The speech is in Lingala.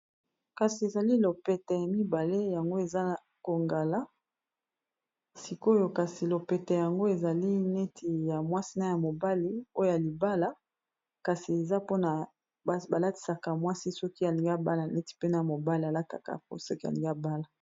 kasi ezali lopete ya mibale yango eza kongala sikoyo kasi lopete yango ezali neti ya mwasina ya mobali oya libala kasi eza mpona balatisaka mwasi soki alinga bala neti pene mobale alakaka po soki alingia bala